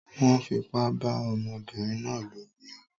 Wón fipá bá ọmọbínrin náà lò ní o